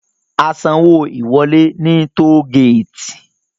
A san owó ìwọlé ní toll gate